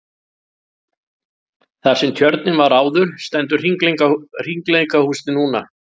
Þar sem tjörnin var áður stendur hringleikahúsið nú.